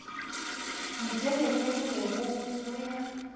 botelele bo be go ya